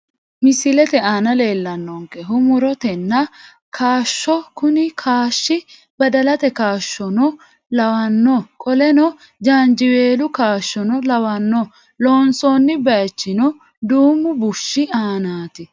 Misilete aana leellannonkehu mu'rote nna kaashshoho kuni kaashshi badalate kaashshono lawanno qoleno jaanjiweelu kaashshono lawanno loonsoonni baaychino duumu bushshi aanaati.